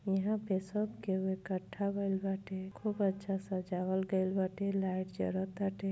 ईहा पे सब केहु इकट्ठा भइल बाटे। खूब अच्छा सजावल गइल बाटे। लाइट जरताटे।